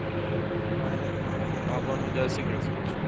ಆದರಿಂದ ನಾವು ಲಾಭನು ಜಾಸ್ತಿ ಗಳುಸ್ಬಹುದು.